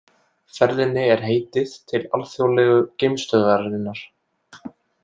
Ferðinni er heitið til Alþjóðlegu geimstöðvarinnar